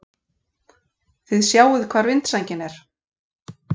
Þið sjáið hvar vindsængin er!